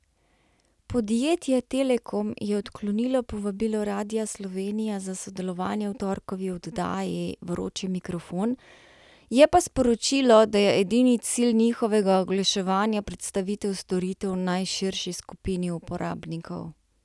Podjetje Telekom je odklonilo povabilo Radia Slovenija za sodelovanje v torkovi oddaji Vroči mikrofon, je pa sporočilo, da je edini cilj njihovega oglaševanja predstavitev storitev najširši skupini uporabnikov.